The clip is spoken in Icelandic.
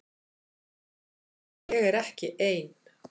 Og ég er ekki ein.